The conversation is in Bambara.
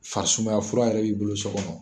Farisumaya fura yɛrɛ b'i bolo so kɔnɔ.